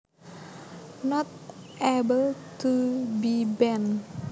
Not able to be bent